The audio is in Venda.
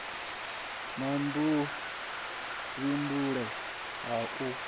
na vhud ifhinduleli ha u